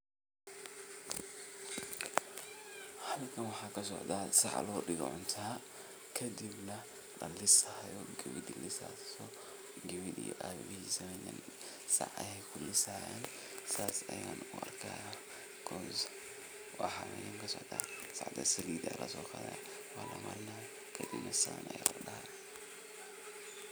halkan waxaa kasocdaa, waa sac lalisaayo, nin iyo wiilkisa ayaa lisaayo saas ayaan u arkaaya.